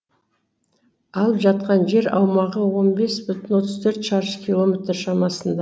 алып жатқан жер аумағы он бес бүтін отыз төрт шаршы километр шамасында